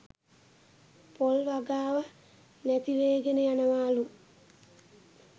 පොල් වගාව නැතිවේගෙන යනවාලු